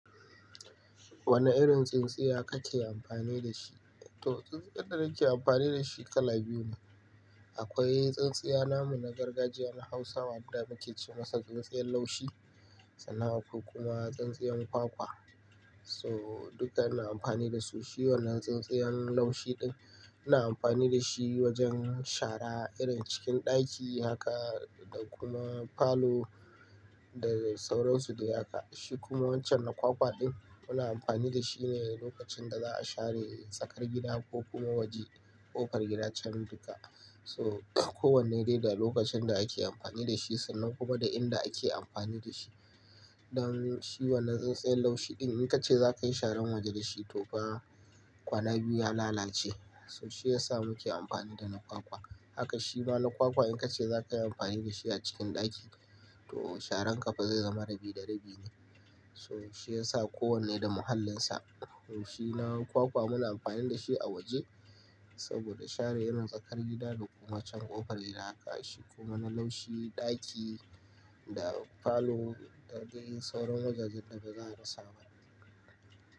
Wane irin tsintsiya kake amfani da shi? To, tsintsiyar da nake amfani da shi kala biyu ne. Akwai tsintsiya namu na gargajiya na Hausawa, inda muke ce masa tsintsiyar laushi sannan akwai kuma tsintsiyar kwakwa. So duka ana amfani da su. Shi wannan tsintsiyar laushi ɗin ina amfani da shi wajen shara irin cikin ɗaki haka da kuma falo da sauransu da haka. Shi kuma wancan na kwakwa ɗin muna amfani da shi ne lokacin da za a share tsakar gida ko kuma waje, ƙofar gida can duka. So kowanne ne da lokacin da ake amfani da shi sannan kuma da inda ake amfani da shi. Don shi wannan tsintsiyar laushi ɗin in ka ce za ka yi sharan waje da shi to fa kwana biyu ya lalace. So shi ya sa muke amfani da na kwakwa. Haka shi ma na kwakwa in ka ce za ka yi amfani da shi a cikin ɗaki to sharan ƙafa zai zama rabi da rabi ne. To shi ya sa kowanne da mahallinsa. Shi na kwakwa muna amfani da shi a waje saboda share irin tsakar gida da kuma can ƙofar gida haka. Shi kuma na laushi ɗaki da falo da dai sauran wajajen da ba za a rasa ba ne.